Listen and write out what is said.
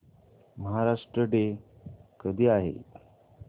Maharashtra day कधी आहे